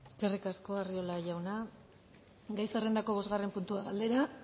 eskerrik asko arriola jauna gai zerrendako bosgarren puntua galdera